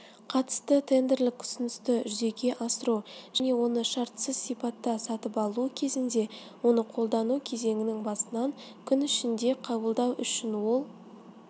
қатысты тендерлік ұсынысты жүзеге асыру және оны шартсыз сипатта сатып алу кезінде оны қолдану кезеңінің басынан күн ішінде қабылдау үшін ол